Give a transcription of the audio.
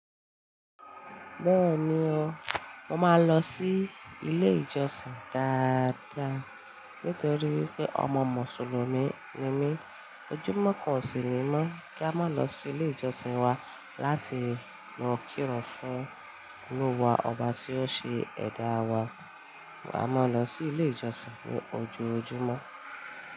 Bẹ́ẹ̀ni o, mo máa ń lọ sí ilé ìjọsìn dáadáa. Nítorí wípé ọmọ mùsùlùmí ni mí. Òjò mọ́kàn ọ̀sìn ni mó kí a máa lọ sí ilé ìjọsìn wa láti máa kírun fún Olúwa Ọba tí ó ṣe ẹ̀dá wa. A máa ń lọ sí ilé ìjọsìn ní ojoojúmọ́.